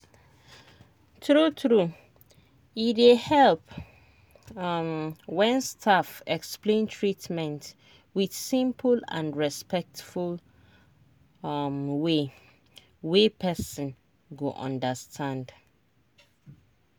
true true e dey help um when staff explain treatment with simple and respectful um way wey person go understand.